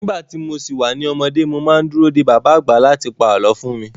Nígbà tí mo si wà ní ọmọdé, mo má ń dúró de bàbá àgbà láti pa àlọ́ fún mi